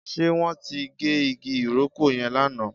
Ṣe wọn tí gé igi ìrókò yẹn lánàá?